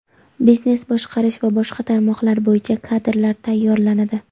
biznes boshqarish va boshqa tarmoqlar bo‘yicha kadrlar tayyorlanadi.